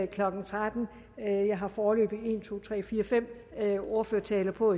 klokken trettende jeg har foreløbig endnu fem ordførertaler på